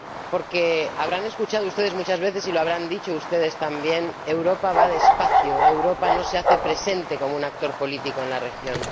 Porque habrán escuchado ustedes muchas veces, y lo habrán dicho ustedes también Europa va despacio, Europa no se hace presente como un actor político en la región.